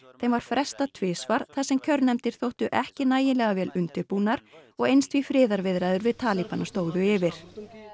en var frestað tvisvar þar sem kjörnefndir þóttu ekki nægilega vel undirbúnar og eins því friðarviðræður við stóðu yfir